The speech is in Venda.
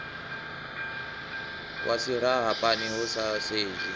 wa silahapani hu sa sedzwi